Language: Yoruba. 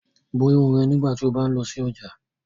Bo irun rẹ nigbati o ba ń lọ si ọja!